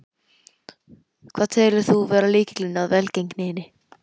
Hvað telur þú vera lykilinn að velgengninni?